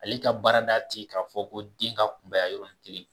Ale ka baarada ti k'a fɔ ko den kunbaya yɔrɔnin kelen